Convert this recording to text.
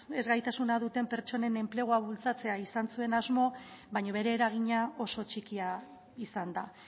ezgaitasuna duten pertsonen enplegua bultzatzea izan zuen asmo baina bere eragina oso txikia izan da